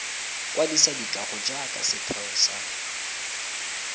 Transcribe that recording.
kwadisa dikago jaaka setheo sa